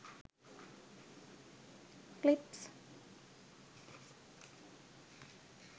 clips